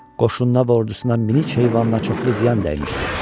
Qoşununa və ordusuna minik heyvanına çoxlu ziyan dəymişdi.